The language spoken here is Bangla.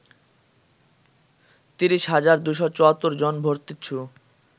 ৩০ হাজার ২৭৪ জন ভর্তিচ্ছু